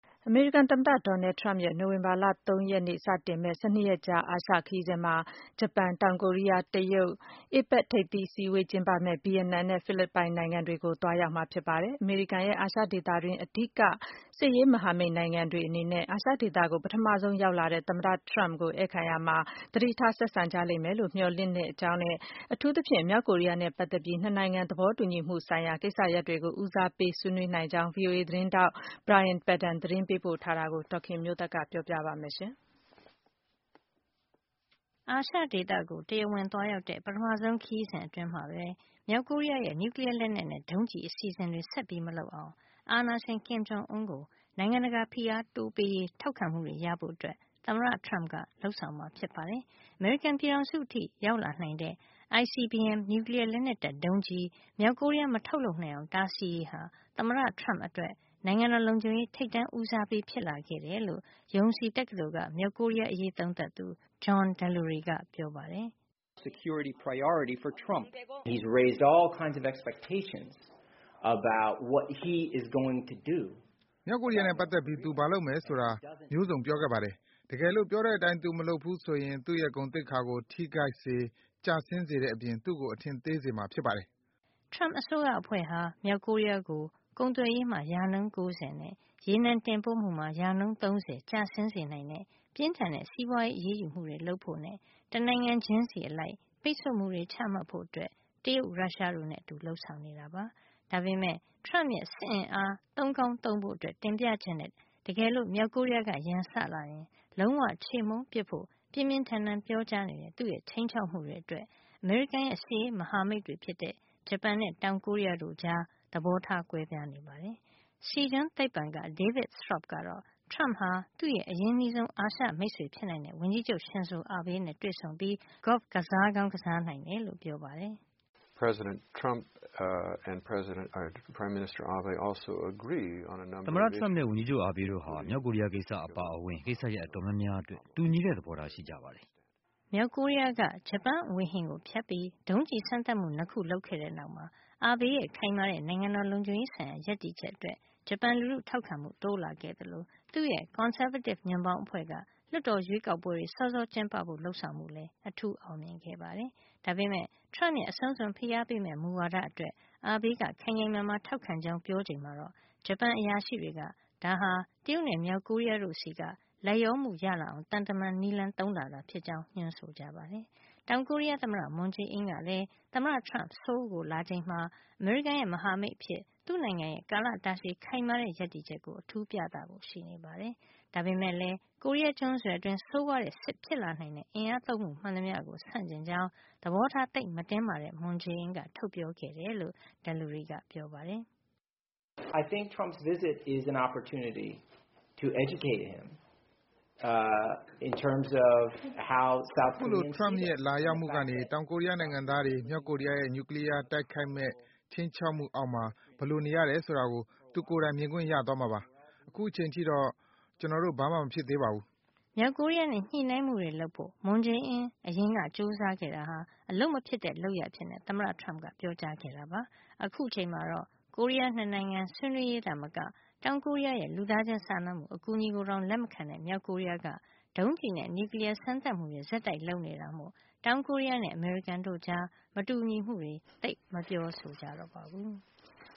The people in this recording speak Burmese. အမေရိကန် သမ္မတ Donald Trump ရဲ့ နိုဝင်ဘာလ ၃ ရက်နေ့စတင်မယ့် ၁၂ ရက်ကြာ အာရှခရီးစဉ်မှာ ဂျပန်၊ တောင်ကိုရီးယား၊ တရုတ်၊ APEC ထိပ်သီးအစည်းဝေး ကျင်းပမယ့် ဗီယက်နမ်နဲ့ ဖိလစ်ပိုင်နိုင်ငံတွေကို သွားရောက်မှာ ဖြစ်ပါတယ်။ အမေရိကန်ရဲ့ အာရှဒေသတွင်း အဓိက စစ်ရေးမဟာမိတ် နိုင်ငံတွေအနေနဲ့ အာရှဒေသကို ပထမဆုံးလာရောက်တဲ့ သမ္မတ Trump ကို ဧည့်ခံရာမှာ သတိထား ဆက်ဆံ ကြလိမ့်မယ်လို့ မျှော်လင့်ရကြောင်းနဲ့ အထူးသဖြင့် မြောက်ကိုရီးယားနဲ့ ပတ်သက်ပြီး ၂ နိုင်ငံ သဘောတူညီမှု ဆိုင်ရာ ကိစ္စရပ်တွေကို ဦးစားပေး ဆွေးနွေးနိုင်ကြောင်း VOA သတင်းထောက် Brian Padden သတင်းပေးပို့ထားတာကို ဒေါ်ခင်မျိုးသက်က တင်ပြပေးမှာပါ။ အာရှဒေသကို ပထမဆုံး တရားဝင်သွားရောက်တဲ့ ခရီးစဉ်အတွင်းမှာပဲ မြောက်ကိုရီးယားရဲ့ နျူကလီယား လက်နက်နဲ့ ဒုံးကျည်အစီစဉ်တွေ စွန့်လွှတ်လာအောင် အာဏာရှင် Kim Jong Un ကို နိုင်ငံတကာ ဖိအားတိုးပေးရေး ထောက်ခံမှုတွေ ရဖို့ သမ္မတ Trump ကစီစဉ်ထား ပါတယ်။ အမေရိကန်ပြည်ထောင်စုအထိ ရောက်လာနိုင်တဲ့ ICBM နျူကလီယားလက်နက်တပ် ဒုံးကျည် မြောက်ကိုရီးယား မထုတ်နိုင်အောင် တားဆီးရေးဟာ သမ္မတ Trump အတွက် နိုင်ငံတော်လုံခြုံရေး ထိပ်တန်းဦးစားပေး ဖြစ်လာခဲ့တယ်လို့ Yonsei တက္ကသိုလ်က မြောက်ကိုရီးယား အရေးသုံးသပ်သူ John Delury ကပြောပါတယ်။ “မြောက်ကိုရီးယားနဲ့ ပတ်သက်ပြီး သူဘာလုပ်မယ် ဆိုတာ မျိုးစုံပြောခဲ့ပါတယ်။ တကယ်လို့ ပြောတဲ့အတိုင်း သူမလုပ်ဘူး ဆိုရင် သူ့ရဲ့ ဂုဏ်သိက္ခာကို ထိခိုက်စေ၊ ကျဆင်းစေတဲ့ အပြင် သူ့ကို အထင်သေးစေမှာ ဖြစ်ပါတယ်။” Turmp အစိုးရအဖွဲ့ဟာ မြောက်ကိုရီးယားကို ကုန်သွယ်ရေးမှာ ရာနှုန်း ၉၀ နဲ့ ရေနံတင်ပို့မှုမှာ ရာနှုန်း ၃၀ ကျဆင်းစေနိုင်တဲ့ပြင်းထန်တဲ့ စီးပွါးရေးအရေးယူမှု လုပ်ဖို့ နဲ့ တနိုင်ငံချင်းစီ အလိုက် ပိတ်ဆို့မှုတွေ ချမှတ်ဖို့ တရုတ် ရုရှားတို့နဲ့ အတူ လုပ်ဆောင်နေပါတယ်။ ဒါပေမယ့် Trump ရဲ့ စစ်အင်အား သုံးကောင်း သုံးဖို့ တင်ပြချက်နဲ့ တကယ်လု့ိ မြောက်ကိုရီးယားက ရန်စလာရင် လုံးဝခြေမှုန်းပစ်ဖို့ ပြင်းပြင်းထန်ထန် ပြောကြားနေတဲ့ သူ့ရဲ့ ခြိမ်းခြောက်မှုတွေ အတွက် အမေရိကန်ရဲ့ စစ်ရေးမဟာမိတ်တွေ ဖြစ်တဲ့ ဂျပန်နဲ့ တောင်ကိုရီးယား တို့ကြား သဘောထား ကွဲပြားနေကြတာပါ။ Sijong သိပ္ပံက David Straub ကတော့ Trump ဟာ သူ့ရဲ့ အရင်းနှီးဆုံး အာရှမိတ်ဆွေ ဖြစ်နိုင်တဲ့ ဝန်ကြီးချုပ် ရှင်ဇို အာဘေးနဲ့ တွေ့ဆုံပြီး golf ကစားကောင်း ကစားနိုင်တယ် လို့ပြောပါတယ်။ “သမ္မတ Trump နဲ့ ဝန်ကြီးချုပ် အာဘေးတို့ဟာ မြောက်ကိုရီးယားကိစ္စ အပါအဝင် ကိစ္စရပ် အတော်များများအတွက် တူညီတဲ့ သဘောထား ရှိကြပါတယ်။” မြောက်ကိုရီးယားက ဂျပန်ဝေဟင်ကို ဖြတ်ပြီး ဒုံးကျည်စမ်းသပ်မှု ၂ ခု လုပ်ခဲ့တဲ့ နောက်မှာ Abe ရဲ့ ခိုင်မာတဲ့ နိုင်ငံတော် လုံခြုံရေး ဆိုင်ရာ ရပ်တည်ချက်အတွက် ဂျပန်လူထု ထောက်ခံမှု တိုးလာခဲ့သလို သူ့ရဲ့ ကွန်ဆာဗေးတစ် ညွန့်ပေါင်းအဖွဲ့က လွှတ်တော်ရွေးကောက်ပွဲတွေ စောစော ကျင်းပဖို့လုပ်ဆောင်မှုလဲ အထူး အောင်မြင်ခဲ့ပါတယ်။ ဒါပေမယ့် Trump ရဲ့ အဆုံးစွန်ဖိအားပေမယ့် မူဝါဒအတွက် Abe က ခိုင်ခိုင်မာမာ ထောက်ခံကြောင်း ပြောချိန်မှာတော့ ဂျပန် အရာရှိတွေက ဒါဟာ တရုတ်နဲ့ မြောက်ကိုရီးယားတို့ဆီက လိုက်လျောမှုရလာအောင် သံမန်နည်းသုံးတာသာ ဖြစ်ကြောင်း ညွှန်းဆိုခဲ့ကြပါတယ်။ တောင်ကိုရီးယား သမ္မတ မွန်ဂျေအင်း ကလည်း သမ္မတ Trump ဆိုလ်းကို လာချိန်မှာ အမေရိကန်ရဲ့ မဟာမိတ်အဖြစ် သူ့နိုင်ငံရဲ့ ကာလတာရှည် ခိုင်မာတဲ့ ရပ်တည်ချက်ကို အထူးပြသဖို့ရှိနေပါတယ်။ ဒါပေမယ့်လည်း ကိုရီးယားကျွန်းဆွယ်အတွင်း ဆိုးဝါးတဲ့ စစ်ဖြစ်လာနိုင်တဲ့ အင်အားသုံးမှု မှန်သမျှကို ဆန့်ကျင်ကြောင်း သဘောထား သိပ်မတင်းမာတဲ့ မွန်ဂျေအင်းက ထုတ်ပြောခဲ့တယ်လို့ Delury ကပြောပါတယ်။ “အခုလို Trump ရဲ့ လာရောက်မှုကနေ တောင်ကိုရီးယားနိုင်ငံသားတွေ မြောက်ကိုရီးယားရဲ့ နျူကလီယား တိုက်ခိုက်မယ့် ခြိမ်းခြောက်မှု အောက်မှာ ဘယ်လိုနေရတယ် ဆိုတာကို သူကိုယ်တိုင် မြင်ခွင့်ရသွားမှာပါ။ အခုချိန်အထိတော့ ဘာမှမဖြစ်သေးပါဘူး။ ” မြောက်ကိုရီးယားနဲ့ ညှိနှိုင်းမှုတွေ လုပ်ဖို့ သမ္မတ Moon အရင်က ကြိုးစားခဲ့တာဟာ အလုပ်မဖြစ်တဲ့ လုပ်ရပ်အဖြစ် သမ္မတ Trump က ပြောကြားခဲ့တာပါ။ အခုအချိန်မှာတော့ ကိုရီးယား ၂ နိုင်ငံ ဆွေးနွေးရေး သာမက တောင်ကိုရီးယားရဲ့ လူသားချင်းစာနာမှု အကူညီကိုတောင် လက်မခံတဲ့ မြောက်ကိုရီးယားက ဒုံးကျည်နဲ့ နျူကလီယား စမ်းသပ်မှုတွေ ဆက်တိုက် လုပ်နေတာမို့ တောင်ကိုရီးယားနဲ့ အမေရိကန်တို့ကြား မတူညီမှုတွေ သိပ်မပြောကြ တော့ပါဘူး။